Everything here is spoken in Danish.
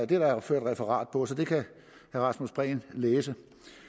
det er der ført referat på så det kan herre rasmus prehn læse